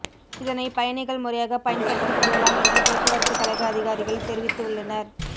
இதனை பயணிகள் முறையாக பயன்படுத்திக்கொள்ளலாம் என்று போக்குவரத்து கழக அதிகாரிகள் தெரிவித்து உள்ளனர்